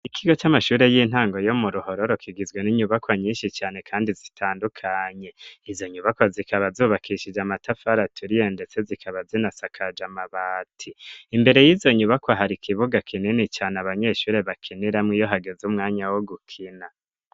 Ikigo c'amashure y'intango yo mu ruhororo kigizwe n'inyubako nyinshi cane kandi zitandukanye, izo nyubako zikaba zubakishije amatafari aturiye ndetse zikaba zinasakaje amabati, imbere y'izo nyubako hari kibuga kinini cane abanyeshuri bakiniramu iyo hageze umwanya wo gukina.